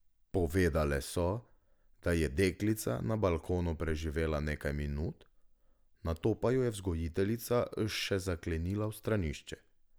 Povedale so, da je deklica na balkonu preživela nekaj minut, nato pa jo je vzgojiteljica še zaklenila v stranišče.